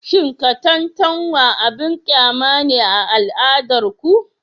Cin katantanwa abin kyama ne a al'adar ku?